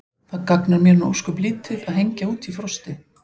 Það gagnar mér nú ósköp lítið að hengja út í frosti.